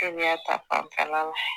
E min y'a ta la.